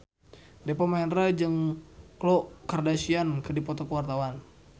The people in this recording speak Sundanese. Deva Mahendra jeung Khloe Kardashian keur dipoto ku wartawan